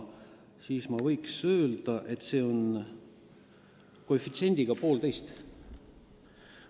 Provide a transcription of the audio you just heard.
Ma võiks öelda, et siis oli see koefitsient 1,5.